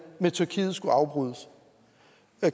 med tyrkiet skulle afbrydes